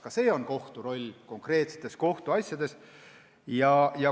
Ka see on kohtu roll konkreetsetes kohtuasjades.